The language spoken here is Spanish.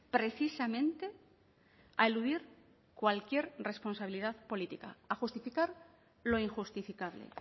precisamente a eludir cualquier responsabilidad política a justificar lo injustificable